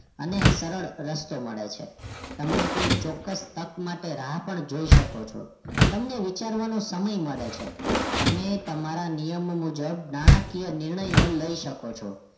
અને સરળ રસ્તો મળે છે તમને કોઈ ચોક્કસ તક માટે રાહ પણ જોઈ શકો છો તમને વિચારવાનો સમય મળે છે તમે તમારા નિયમો મુજબ નાણાકીય નિર્ણયો લઈ શકો છો